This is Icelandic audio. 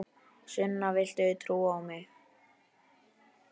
Sunna, viltu trúa á mig?